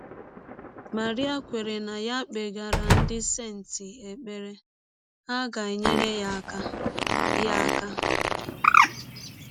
Marie kweere na ya kpegara ndị senti ekpere, ha ga - enyere ya aka. ya aka.